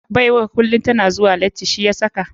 Baiwar kulum tana zuwa lati shi yasaka.